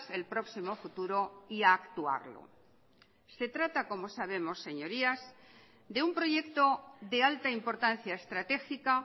el próximo futuro y a actuarlo se trata como sabemos señorías de un proyecto de alta importancia estratégica